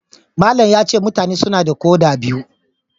Malam yace mutane suna da koda biyu.